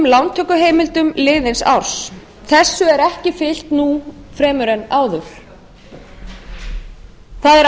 lántökuheimildum liðins árs þessu er ekki fylgt nú fremur en áður það er